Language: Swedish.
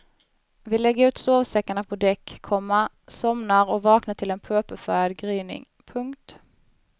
Vi lägger ut sovsäckarna på däck, komma somnar och vaknar till en purpurfärgad gryning. punkt